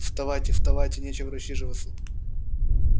вставайте вставайте нечего рассиживаться